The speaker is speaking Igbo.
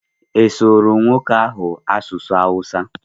Ị surụ nwoke ahụ Asụsụ Awụsa?